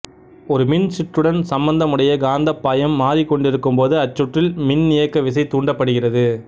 ஒரு மின் சுற்றுடன் சம்பந்தமுடைய காந்தப்பாயம் மாறிக்கொண்டிருக்கும்போது அச்சுற்றில் மின்னியக்குவிசை தூண்டப்படுகிறது